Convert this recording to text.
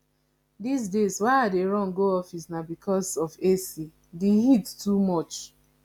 dis days why i dey run go office na because of ac the heat too much